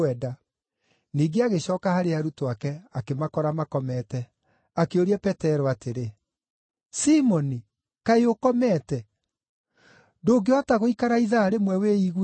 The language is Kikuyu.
Ningĩ agĩcooka harĩ arutwo ake akĩmakora makomete. Akĩũria Petero atĩrĩ, “Simoni, kaĩ ũkomete? Ndũngĩhota gũikara ithaa rĩmwe wĩiguĩte?